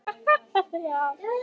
Það er allt.